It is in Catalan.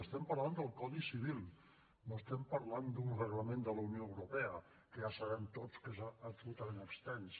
estem parlant del codi civil no estem parlant d’un reglament de la unió europea que ja sabem tots que és absolutament extens